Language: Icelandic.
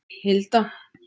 Hilda